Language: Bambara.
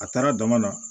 A taara dama na